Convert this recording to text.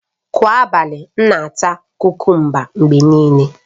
Kwa abalị, m na-ata kukumba mgbe niile